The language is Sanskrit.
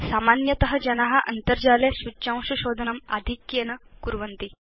सामान्यत जना अन्तर्जाले सूच्यांश शोधनम् आधिक्येन कुर्वन्ति